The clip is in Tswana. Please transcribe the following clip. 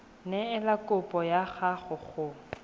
neela kopo ya gago go